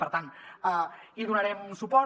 per tant hi donarem suport